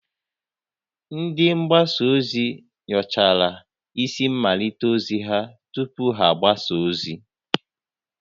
Ndị mgbasa ozi nyochara isi mmalite ozi ha tupu ha agbasa ozi